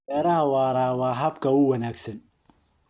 Beeraha waara waa habka ugu wanaagsan.